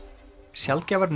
sjaldgæfar